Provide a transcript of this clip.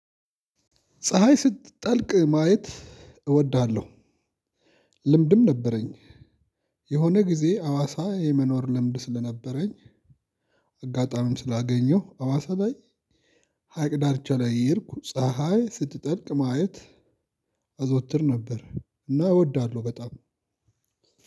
ፀሀይ ስትጠልቅ ማየት እወዳለሁ። ልምድም ነበረኝ የሆነ ጊዜ አዋሳ የመኖር ልምድ ስለነበረኝ። አጋጣሚም ስላገኘሁ አዋሳ ላይ ሀይቅ ዳርቻ ላይ እየሄድኩ ፀሀይ ስትጠልቅ ማየት አዘወትር ነበር። እና እወዳለሁ በጣም።